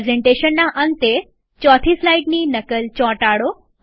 પ્રેઝન્ટેશનના અંતે ચોથી સ્લાઈડની નકલ ચોટાડો